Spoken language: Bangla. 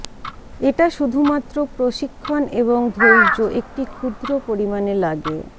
এটা শুধুমাত্র প্রশিক্ষণ এবং ধৈর্য একটি ক্ষুদ্র পরিমাণে লাগে